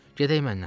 Gedək mənlə!